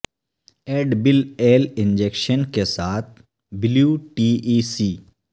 add bill L injection کے ساتھ blue T E سی